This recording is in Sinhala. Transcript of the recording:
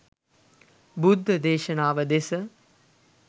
බුද්ධ දේශනාව දෙස